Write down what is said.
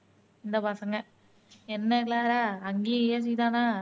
இந்த பசங்க என்ன க்ளாரா, அங்கேயும் AC தானா